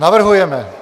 Navrhujeme